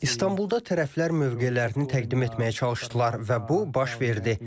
İstanbulda tərəflər mövqelərini təqdim etməyə çalışdılar və bu baş verdi.